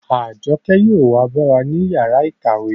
Àjọkẹ́ yóò wa bá wa ní yàrá ìkàwé